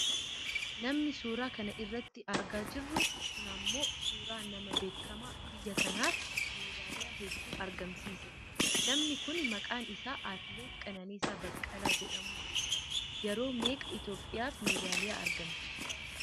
Namni suuraa kana irratti argaa jirru kun ammoo suuraa nama beekkama, biyya kanaaf meedaaliyaa hedduu argamsiise dha. Namni kun maqaan isaa Atileet Qananiisaa Baqqalaa jedhamuun beekkama. Yeroo meeqa Itoopiyaaf medaaliyaa argamsiise?